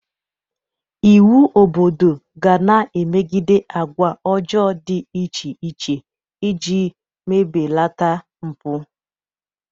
Iwu obodo ga na-emegide agwa ọjọọ dị iche iche ị ji belata mpụ.